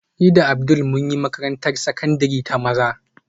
Ni da Abdul mun yi makarantar sakandare ta maza